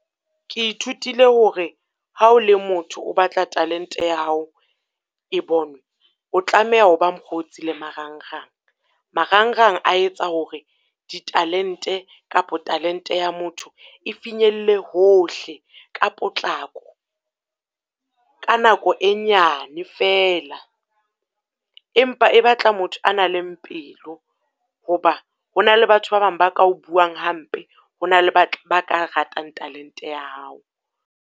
Ke ithutile hore ha o le motho o batla talente ya hao e bonwe, o tlameha ho ba mokgotsi le marangrang. Marangrang a etsa hore di talente, kapo talente ya motho, e finyelle hohle ka potlako, ka nako e nyane fela. Empa e batla motho a nang le pelo hoba ho na le batho ba bang ba ka o buang hampe, ho na le ba ba ka ratang talente ya hao.